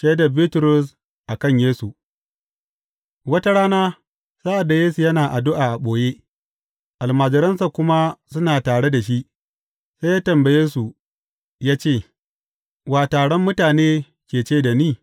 Shaidar Bitrus a kan Yesu Wata rana sa’ad da Yesu yana addu’a a ɓoye, almajiransa kuma suna tare da shi, sai ya tambaye, su ya ce, Wa, taron mutane ke ce da ni?